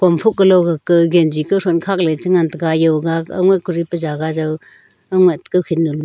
am phuh kalo ga ka genji kauthon khakley chengan taiga yoga aungai kuri pa jaga jau aungai kokhin ga--